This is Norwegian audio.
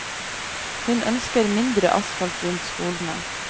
Hun ønsker mindre asfalt rundt skolene.